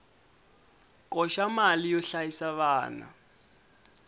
koxa mali yo hlayisa vana